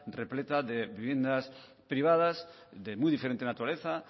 repleta de viviendas privadas de muy diferente naturaleza